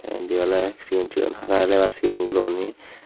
indi oley sigon sigon hara helebar sigon guro guney.